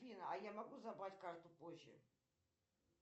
афина а я могу забрать карту позже